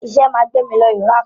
Iṣẹ́ máa gbé mí lọ Iraq.